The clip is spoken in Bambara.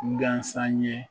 Gasan ɲe